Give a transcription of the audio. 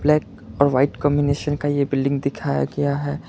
Red और white combination का यह बिल्डिंग दिखाया गया है।